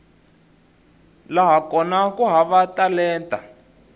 laha kona ku hava talenta